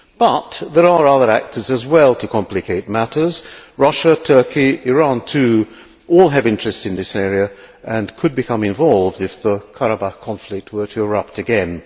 But there are other actors as well to complicate matters Russia, Turkey, Iran too, all have interests in this area and could become involved if the Karabakh conflict were to erupt again.